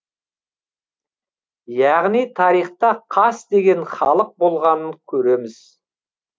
яғни тарихта қас деген халық болғанын көреміз